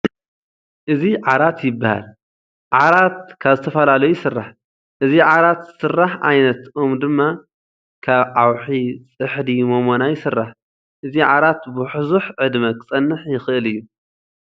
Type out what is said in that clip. እዚ ዓራት ይባሃል። ዓራት ካብ ዝተፈላለዩ ይስራሕ ። እዚ ዓራት ስረሕ ዓይነት ኦም ድማ ካብ ዓኺ፣ ፅሕዲ፣ ሞሞና ይስራሕ ። እዚ ዓራት ቡሕ ዕድመ ክፀንሕ ይክእል እዩ።